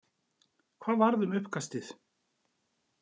Hvað varð um uppkastið?